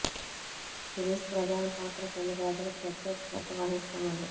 series ప్రధాన పాత్ర కొన్ని ప్రజలకు ప్రత్యేక శ్రద్ధ వహిస్తున్నది